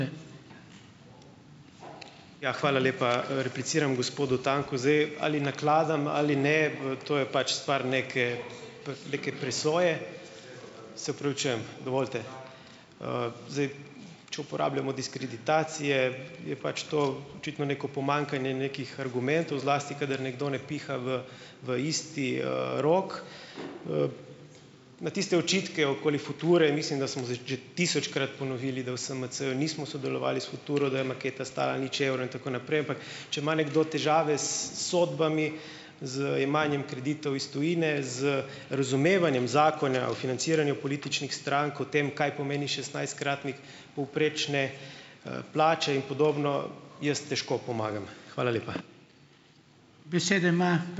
Ja, hvala lepa. Repliciram gospodu Tanku. Zdaj, ali nakladam ali ne, to je pač stvar neke, neke presoje. Se opravičujem, dovolite? Zdaj, če uporabljamo diskreditacije, je pač to očitno neko pomanjkanje nekih argumentov, zlasti kadar nekdo ne piha v, v isti, rok. Na tiste očitke okoli Future, mislim, da smo tisočkrat ponovili, da v SMC-ju nismo sodelovali s Futuro, da je maketa stala nič evrov in tako naprej, ampak če ima nekdo težave s sodbami, z jemanjem kreditov iz tujine, z razumevanjem zakona o financiranju političnih strank, o tem, kaj pomeni šestnajstkratnik povprečne, plače in podobno, jaz težko pomagam. Hvala lepa. Besede ima